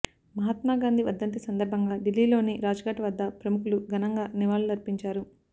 మహాత్మా గాంధీ వర్ధంతి సందర్భంగా ఢిల్లీలోని రాజ్ఘాట్ వద్ద ప్రముఖులు ఘనంగా నివాళులర్పించారు